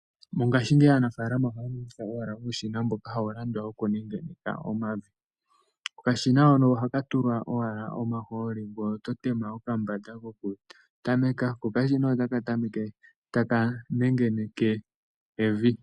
Mongashingeyi aanafalama ohaya longitha owala uushina mboka hawu landwa woku ninga omavi. Uushina mbuka ohawu tulwa owala omahooli ngoye oto thindi pokambanda ko otaka tameke oku nengeneka evi.